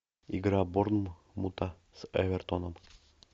игра борнмута с эвертоном